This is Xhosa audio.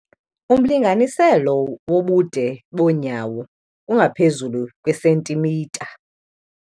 Umlinganiselo wobude bonyawo ungaphezulu kwisentimitha.